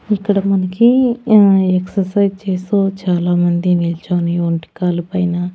ఇక్కడ మనకి ఆ ఎక్సర్సైజ్ చేస్తూ చాలా మంది నిల్చొని ఒంటికాలు పైన--